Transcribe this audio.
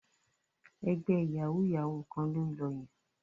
Ẹgbẹ́ yàwúú-yàwuù kan ló ń lọ yẹn